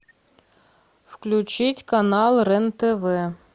включить канал рен тв